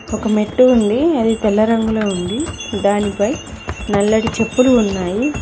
ఒక మెట్టు ఉంది అది తెల్ల రంగులో ఉంది దానిపై నల్లటి చెప్పులు ఉన్నాయి.